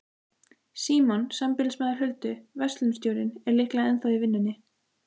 Símon, sambýlismaður Huldu, verslunarstjórinn, er líklega ennþá í vinnunni.